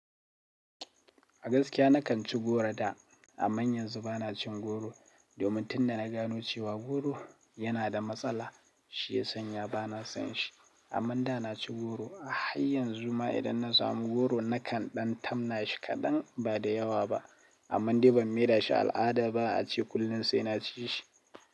A gaskiya nakan ci goro da, amma yanzu ba na cin goro domin tunda na gano cewa goro yana da matsala, shi ya sanya ba na son shi. Amma da na ci goro a hayynzunma idan na samu goro nakan ɗan tamna shi kaɗan ba da yawa ba, amma dai ban maye da shi al'ada ba ace kullum sai na ci shi.